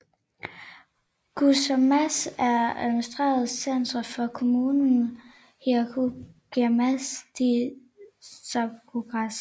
Guyamas er administrativt center for kommunen Heroica Guaymas de Zaragoza